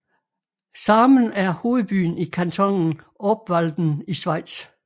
Sarnen er hovedbyen i kantonen Obwalden i Schweiz